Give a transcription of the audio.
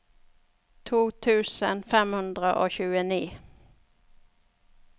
to tusen fem hundre og tjueni